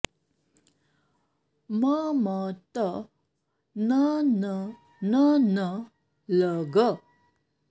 म म त न न न न ल ग